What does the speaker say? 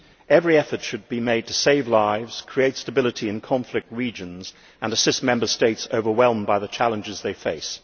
Every effort should be made to save lives, create stability in conflict regions and assist Member States overwhelmed by the challenges they face.